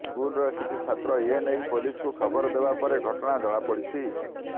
ସ୍କୁଲର କିଛି ଛାତ୍ର ଏ ନେଇ ପୋଲିସକୁ ଖବର ଦେବା ପରେ ଘଟଣା ଜଣାପଡିଛି